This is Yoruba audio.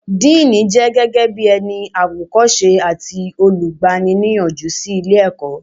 Díìnì jẹ́ gẹ́gẹ́ bí ẹni àwòkọ́ṣe àti olùgbani-níyànjú sí ilé ìwé